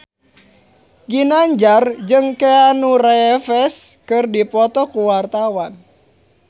Ginanjar jeung Keanu Reeves keur dipoto ku wartawan